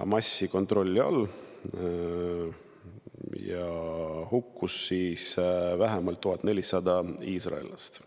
Hamasi kontrolli all olevast Gaza sektorist ja hukkus vähemalt 1400 iisraellast.